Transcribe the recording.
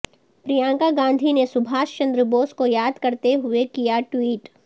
پرینکا گاندھی نے سبھاش چندر بوس کو یاد کرتے ہوئے کیا ٹوئٹ